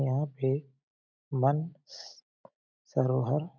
यहाँ पे मन स सरोहर --